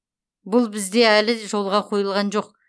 бұл бізде әлі жолға қойылған жоқ